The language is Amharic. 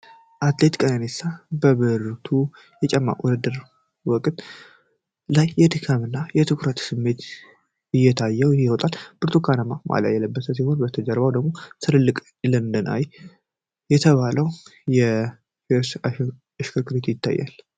አትሌት ቀነኒሳ በቀለ በብርቱ የሩጫ ውድድር ወቅት ፊቱ ላይ የድካም እና የትኩረት ስሜት እየታየው ይሮጣል። ብርቱካናማ ማሊያ የለበሰ ሲሆን፤ ከበስተጀርባው ደግሞ ትልቁ 'ለንደን አይ' የተባለው የፌሪስ እሽክርክሪት ይታያል።